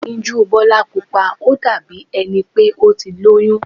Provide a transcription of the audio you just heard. Ẹyinjú Bọ́lá Pupa ó dàbí ẹni pé ó ti lóyún.